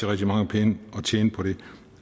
rigtig mange penge at tjene på det